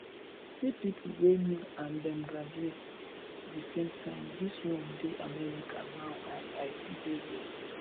see people wey me and dem graduate the same time dis one dey america now and i still dey here